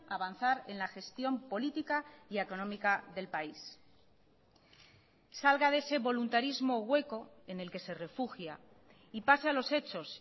avanzar en la gestión política y económica del país salga de ese voluntarismo hueco en el que se refugia y pase a los hechos